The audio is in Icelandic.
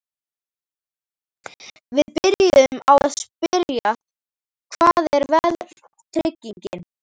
Við byrjuðum á að spyrja: Hvað er verðtrygging?